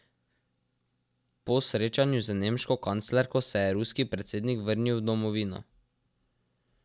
Po srečanju z nemško kanclerko se je ruski predsednik vrnil v domovino.